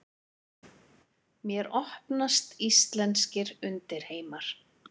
Mér opnast íslenskir undirheimar.